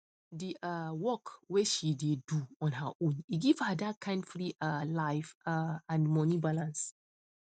d um work way she dey do on her own e give her that kind free um life um and money balance